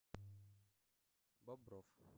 бобров